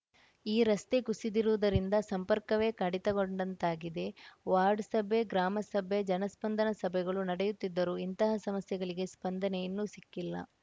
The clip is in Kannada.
ಈ ರಸ್ತೆ ಕುಸಿದಿರುವುದರಿಂದ ಸಂಪರ್ಕವೇ ಕಡಿತಗೊಂಡಂತಾಗಿದೆ ವಾರ್ಡ್‌ ಸಭೆ ಗ್ರಾಮಸಭೆ ಜನಸ್ಪಂದನ ಸಭೆಗಳು ನಡೆಯುತ್ತಿದ್ದರೂ ಇಂತಹ ಸಮಸ್ಯೆಗಳಿಗೆ ಸ್ಪಂದನೆ ಇನ್ನೂ ಸಿಕ್ಕಿಲ್ಲ